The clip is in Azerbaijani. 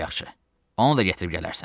Lap yaxşı, onu da gətirib gələrsən.